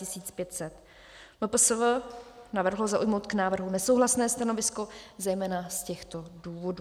MPSV navrhlo zaujmout k návrhu nesouhlasné stanovisko zejména z těchto důvodů: